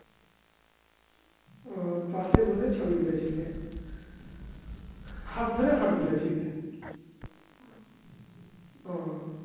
আ পাশে বসে ছবি তুলেছিলে. হাত ধরে photo তুলেছিলে. ও